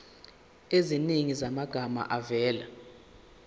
eziningi zamagama avela